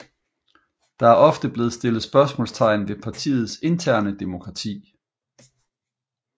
Der er ofte blevet stillet spørgsmålstegn ved partiets interne demokrati